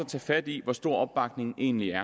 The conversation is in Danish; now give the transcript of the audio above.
tage fat i hvor stor opbakningen egentlig er